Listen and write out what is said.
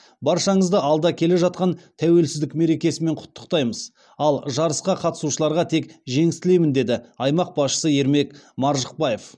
баршаңызды алда келе жатқан тәуелсіздік мерекесімен құттықтаймыз ал жарысқа қатысушыларға тек жеңіс тілеймін деді аймақ басшысы ермек маржықпаев